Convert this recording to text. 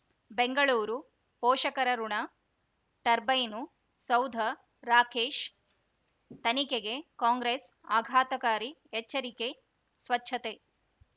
ಬೆಂಗಳೂರು ಪೋಷಕರಋಣ ಟರ್ಬೈನು ಸೌಧ ರಾಕೇಶ್ ತನಿಖೆಗೆ ಕಾಂಗ್ರೆಸ್ ಆಘಾತಕಾರಿ ಎಚ್ಚರಿಕೆ ಸ್ವಚ್ಛತೆ